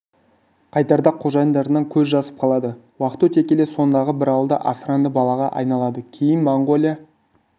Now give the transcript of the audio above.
қайтарда қожайындарынан көз жазып қалады уақыт өте келе сондағы бір ауылда асыранды балаға айналады кейін моңғолия